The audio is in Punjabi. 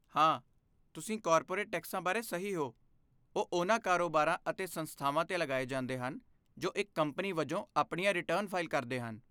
ਹਾਂ, ਤੁਸੀਂ ਕਾਰਪੋਰੇਟ ਟੈਕਸਾਂ ਬਾਰੇ ਸਹੀ ਹੋ, ਉਹ ਉਹਨਾਂ ਕਾਰੋਬਾਰਾਂ ਅਤੇ ਸੰਸਥਾਵਾਂ 'ਤੇ ਲਗਾਏ ਜਾਂਦੇ ਹਨ ਜੋ ਇੱਕ ਕੰਪਨੀ ਵਜੋਂ ਆਪਣੀਆਂ ਰਿਟਰਨ ਫ਼ਾਈਲ ਕਰਦੇ ਹਨ।